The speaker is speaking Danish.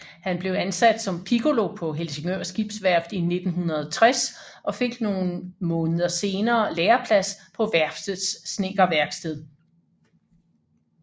Han blev ansat som piccolo på Helsingør Skibsværft i 1960 og fik nogle måneder senere læreplads på værftets snedkerværksted